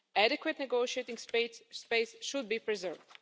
Adequate negotiating space should be preserved.